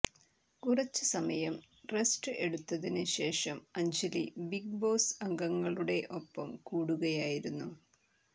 കുറച്ച് സമയം റെസ്റ്റ് എടുത്തതിന് ശേഷം അ്ജലി ബിഗ് ബോസ് അംഗങ്ങളുടെ ഒപ്പം കൂടുകയായിരുന്നു